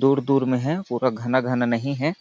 दूर दूर में है पूरा घाना घाना नहीं है।